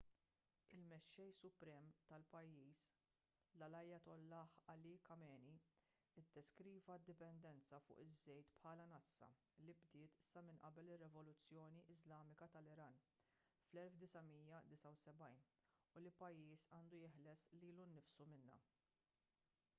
il-mexxej suprem tal-pajjiż l-ayatollah ali khamenei iddeskriva d-dipendenza fuq iż-żejt bħala nassa li bdiet sa minn qabel ir-rivoluzzjoni iżlamika tal-iran fl-1979 u li l-pajjiż għandu jeħles lilu nnifsu minnha